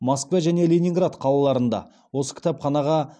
москва және ленинград қалаларында осы кітапханаға